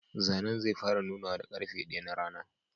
Zanen zai fara nunawa da karfe daya na rana.